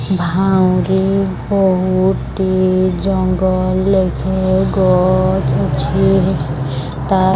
ଭାଙ୍ଗି ହଉଟି ଜଙ୍ଗଲ୍ ଲେଖେ ଗଛ୍ ଅଛି ତା --